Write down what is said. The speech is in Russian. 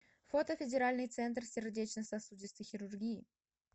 фото федеральный центр сердечно сосудистой хирургии